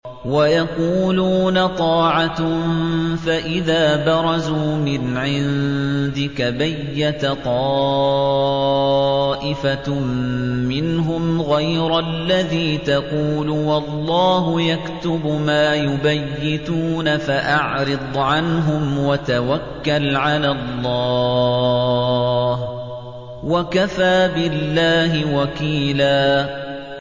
وَيَقُولُونَ طَاعَةٌ فَإِذَا بَرَزُوا مِنْ عِندِكَ بَيَّتَ طَائِفَةٌ مِّنْهُمْ غَيْرَ الَّذِي تَقُولُ ۖ وَاللَّهُ يَكْتُبُ مَا يُبَيِّتُونَ ۖ فَأَعْرِضْ عَنْهُمْ وَتَوَكَّلْ عَلَى اللَّهِ ۚ وَكَفَىٰ بِاللَّهِ وَكِيلًا